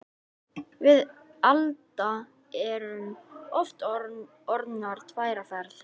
Við Alda erum aftur orðnar tvær á ferð.